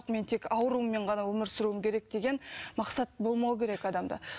мен тек аурумен ғана өмір сүруім керек деген мақсат болмауы керек адамда